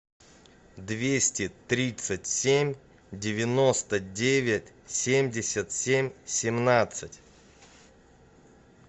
двести тридцать семь девяносто девять семьдесят семь семнадцать